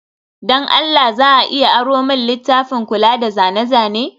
don Allah za a iya aro min littafin kula da zane-zane?